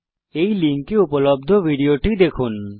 এই লিঙ্কে উপলব্ধ ভিডিও টি দেখুন